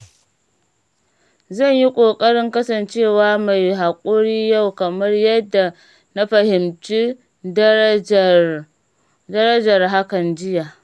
Zan yi ƙoƙarin kasancewa mai hakuri yau kamar yadda na fahimci darajar hakan jiya.